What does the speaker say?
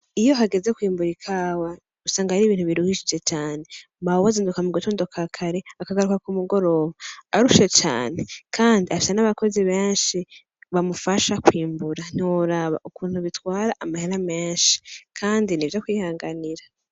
Iyo hageze kwimbura ikawa usanga ari ibintu biruhishije cane , mawe azinduka mugatondo kakare akagaruka kumugoroba arushe cane Kandi afise nabakozi benshi bamufasha kwimbura , ntiworaba ukuntu bitwara amahera menshi Kandi nivyo kwihanganira.